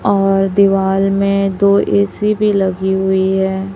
और दीवाल में दो ए_सी भी लगीं हुई है।